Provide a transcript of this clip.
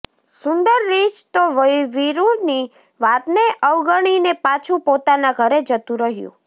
સુંદર રીંછ તો વીરુની વાતને અવગણીને પાછું પોતાના ઘરે જતું રહ્યું